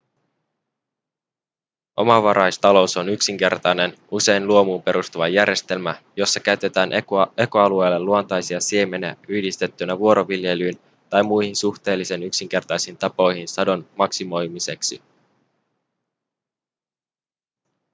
omavaraistalous on yksinkertainen usein luomuun perustuva järjestelmä jossa käytetään ekoalueelle luontaisia siemeniä yhdistettynä vuoroviljelyyn tai muihin suhteellisen yksinkertaisiin tapoihin sadon maksimoimiseksi